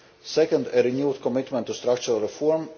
second, a renewed commitment to structural reform